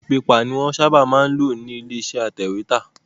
A4 pepà ni wọ́n ń sábà máa ń lò nílé iṣẹ́ atẹ̀wẹ́tà